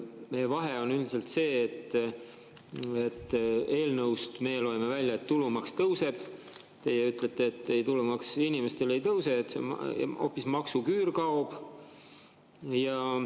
Meie vahe on üldiselt see, et eelnõust meie loeme välja, et tulumaks tõuseb, teie ütlete, et tulumaks inimestele ei tõuse, hoopis maksuküür kaob.